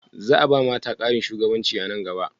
Za a ba mata ƙarin shugabanci a nan gaba?